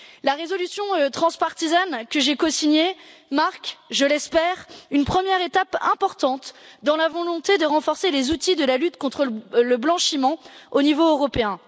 La résolution transpartisane que j'ai cosignée marque, je l'espère, une première étape importante dans la volonté de renforcer les outils de la lutte contre le blanchiment au niveau européen.